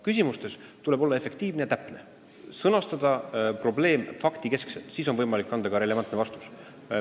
Küsimusi esitades tuleb olla efektiivne ja täpne, sõnastada probleem faktikeskselt, siis on võimalik anda ka relevantne vastus.